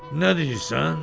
"Nə deyirsən?"